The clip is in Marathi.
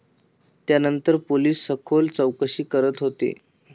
त्यानंतर पोलिस सखोल चौकशी करत होते.